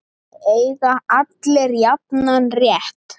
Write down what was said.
Eiga allir jafnan rétt?